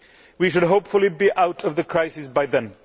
We should hopefully be out of the crisis by then.